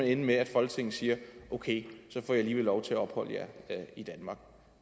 ende med at folketinget siger okay så får i alligevel lov til at opholde jer i danmark